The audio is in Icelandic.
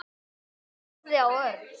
Hún horfði á Örn.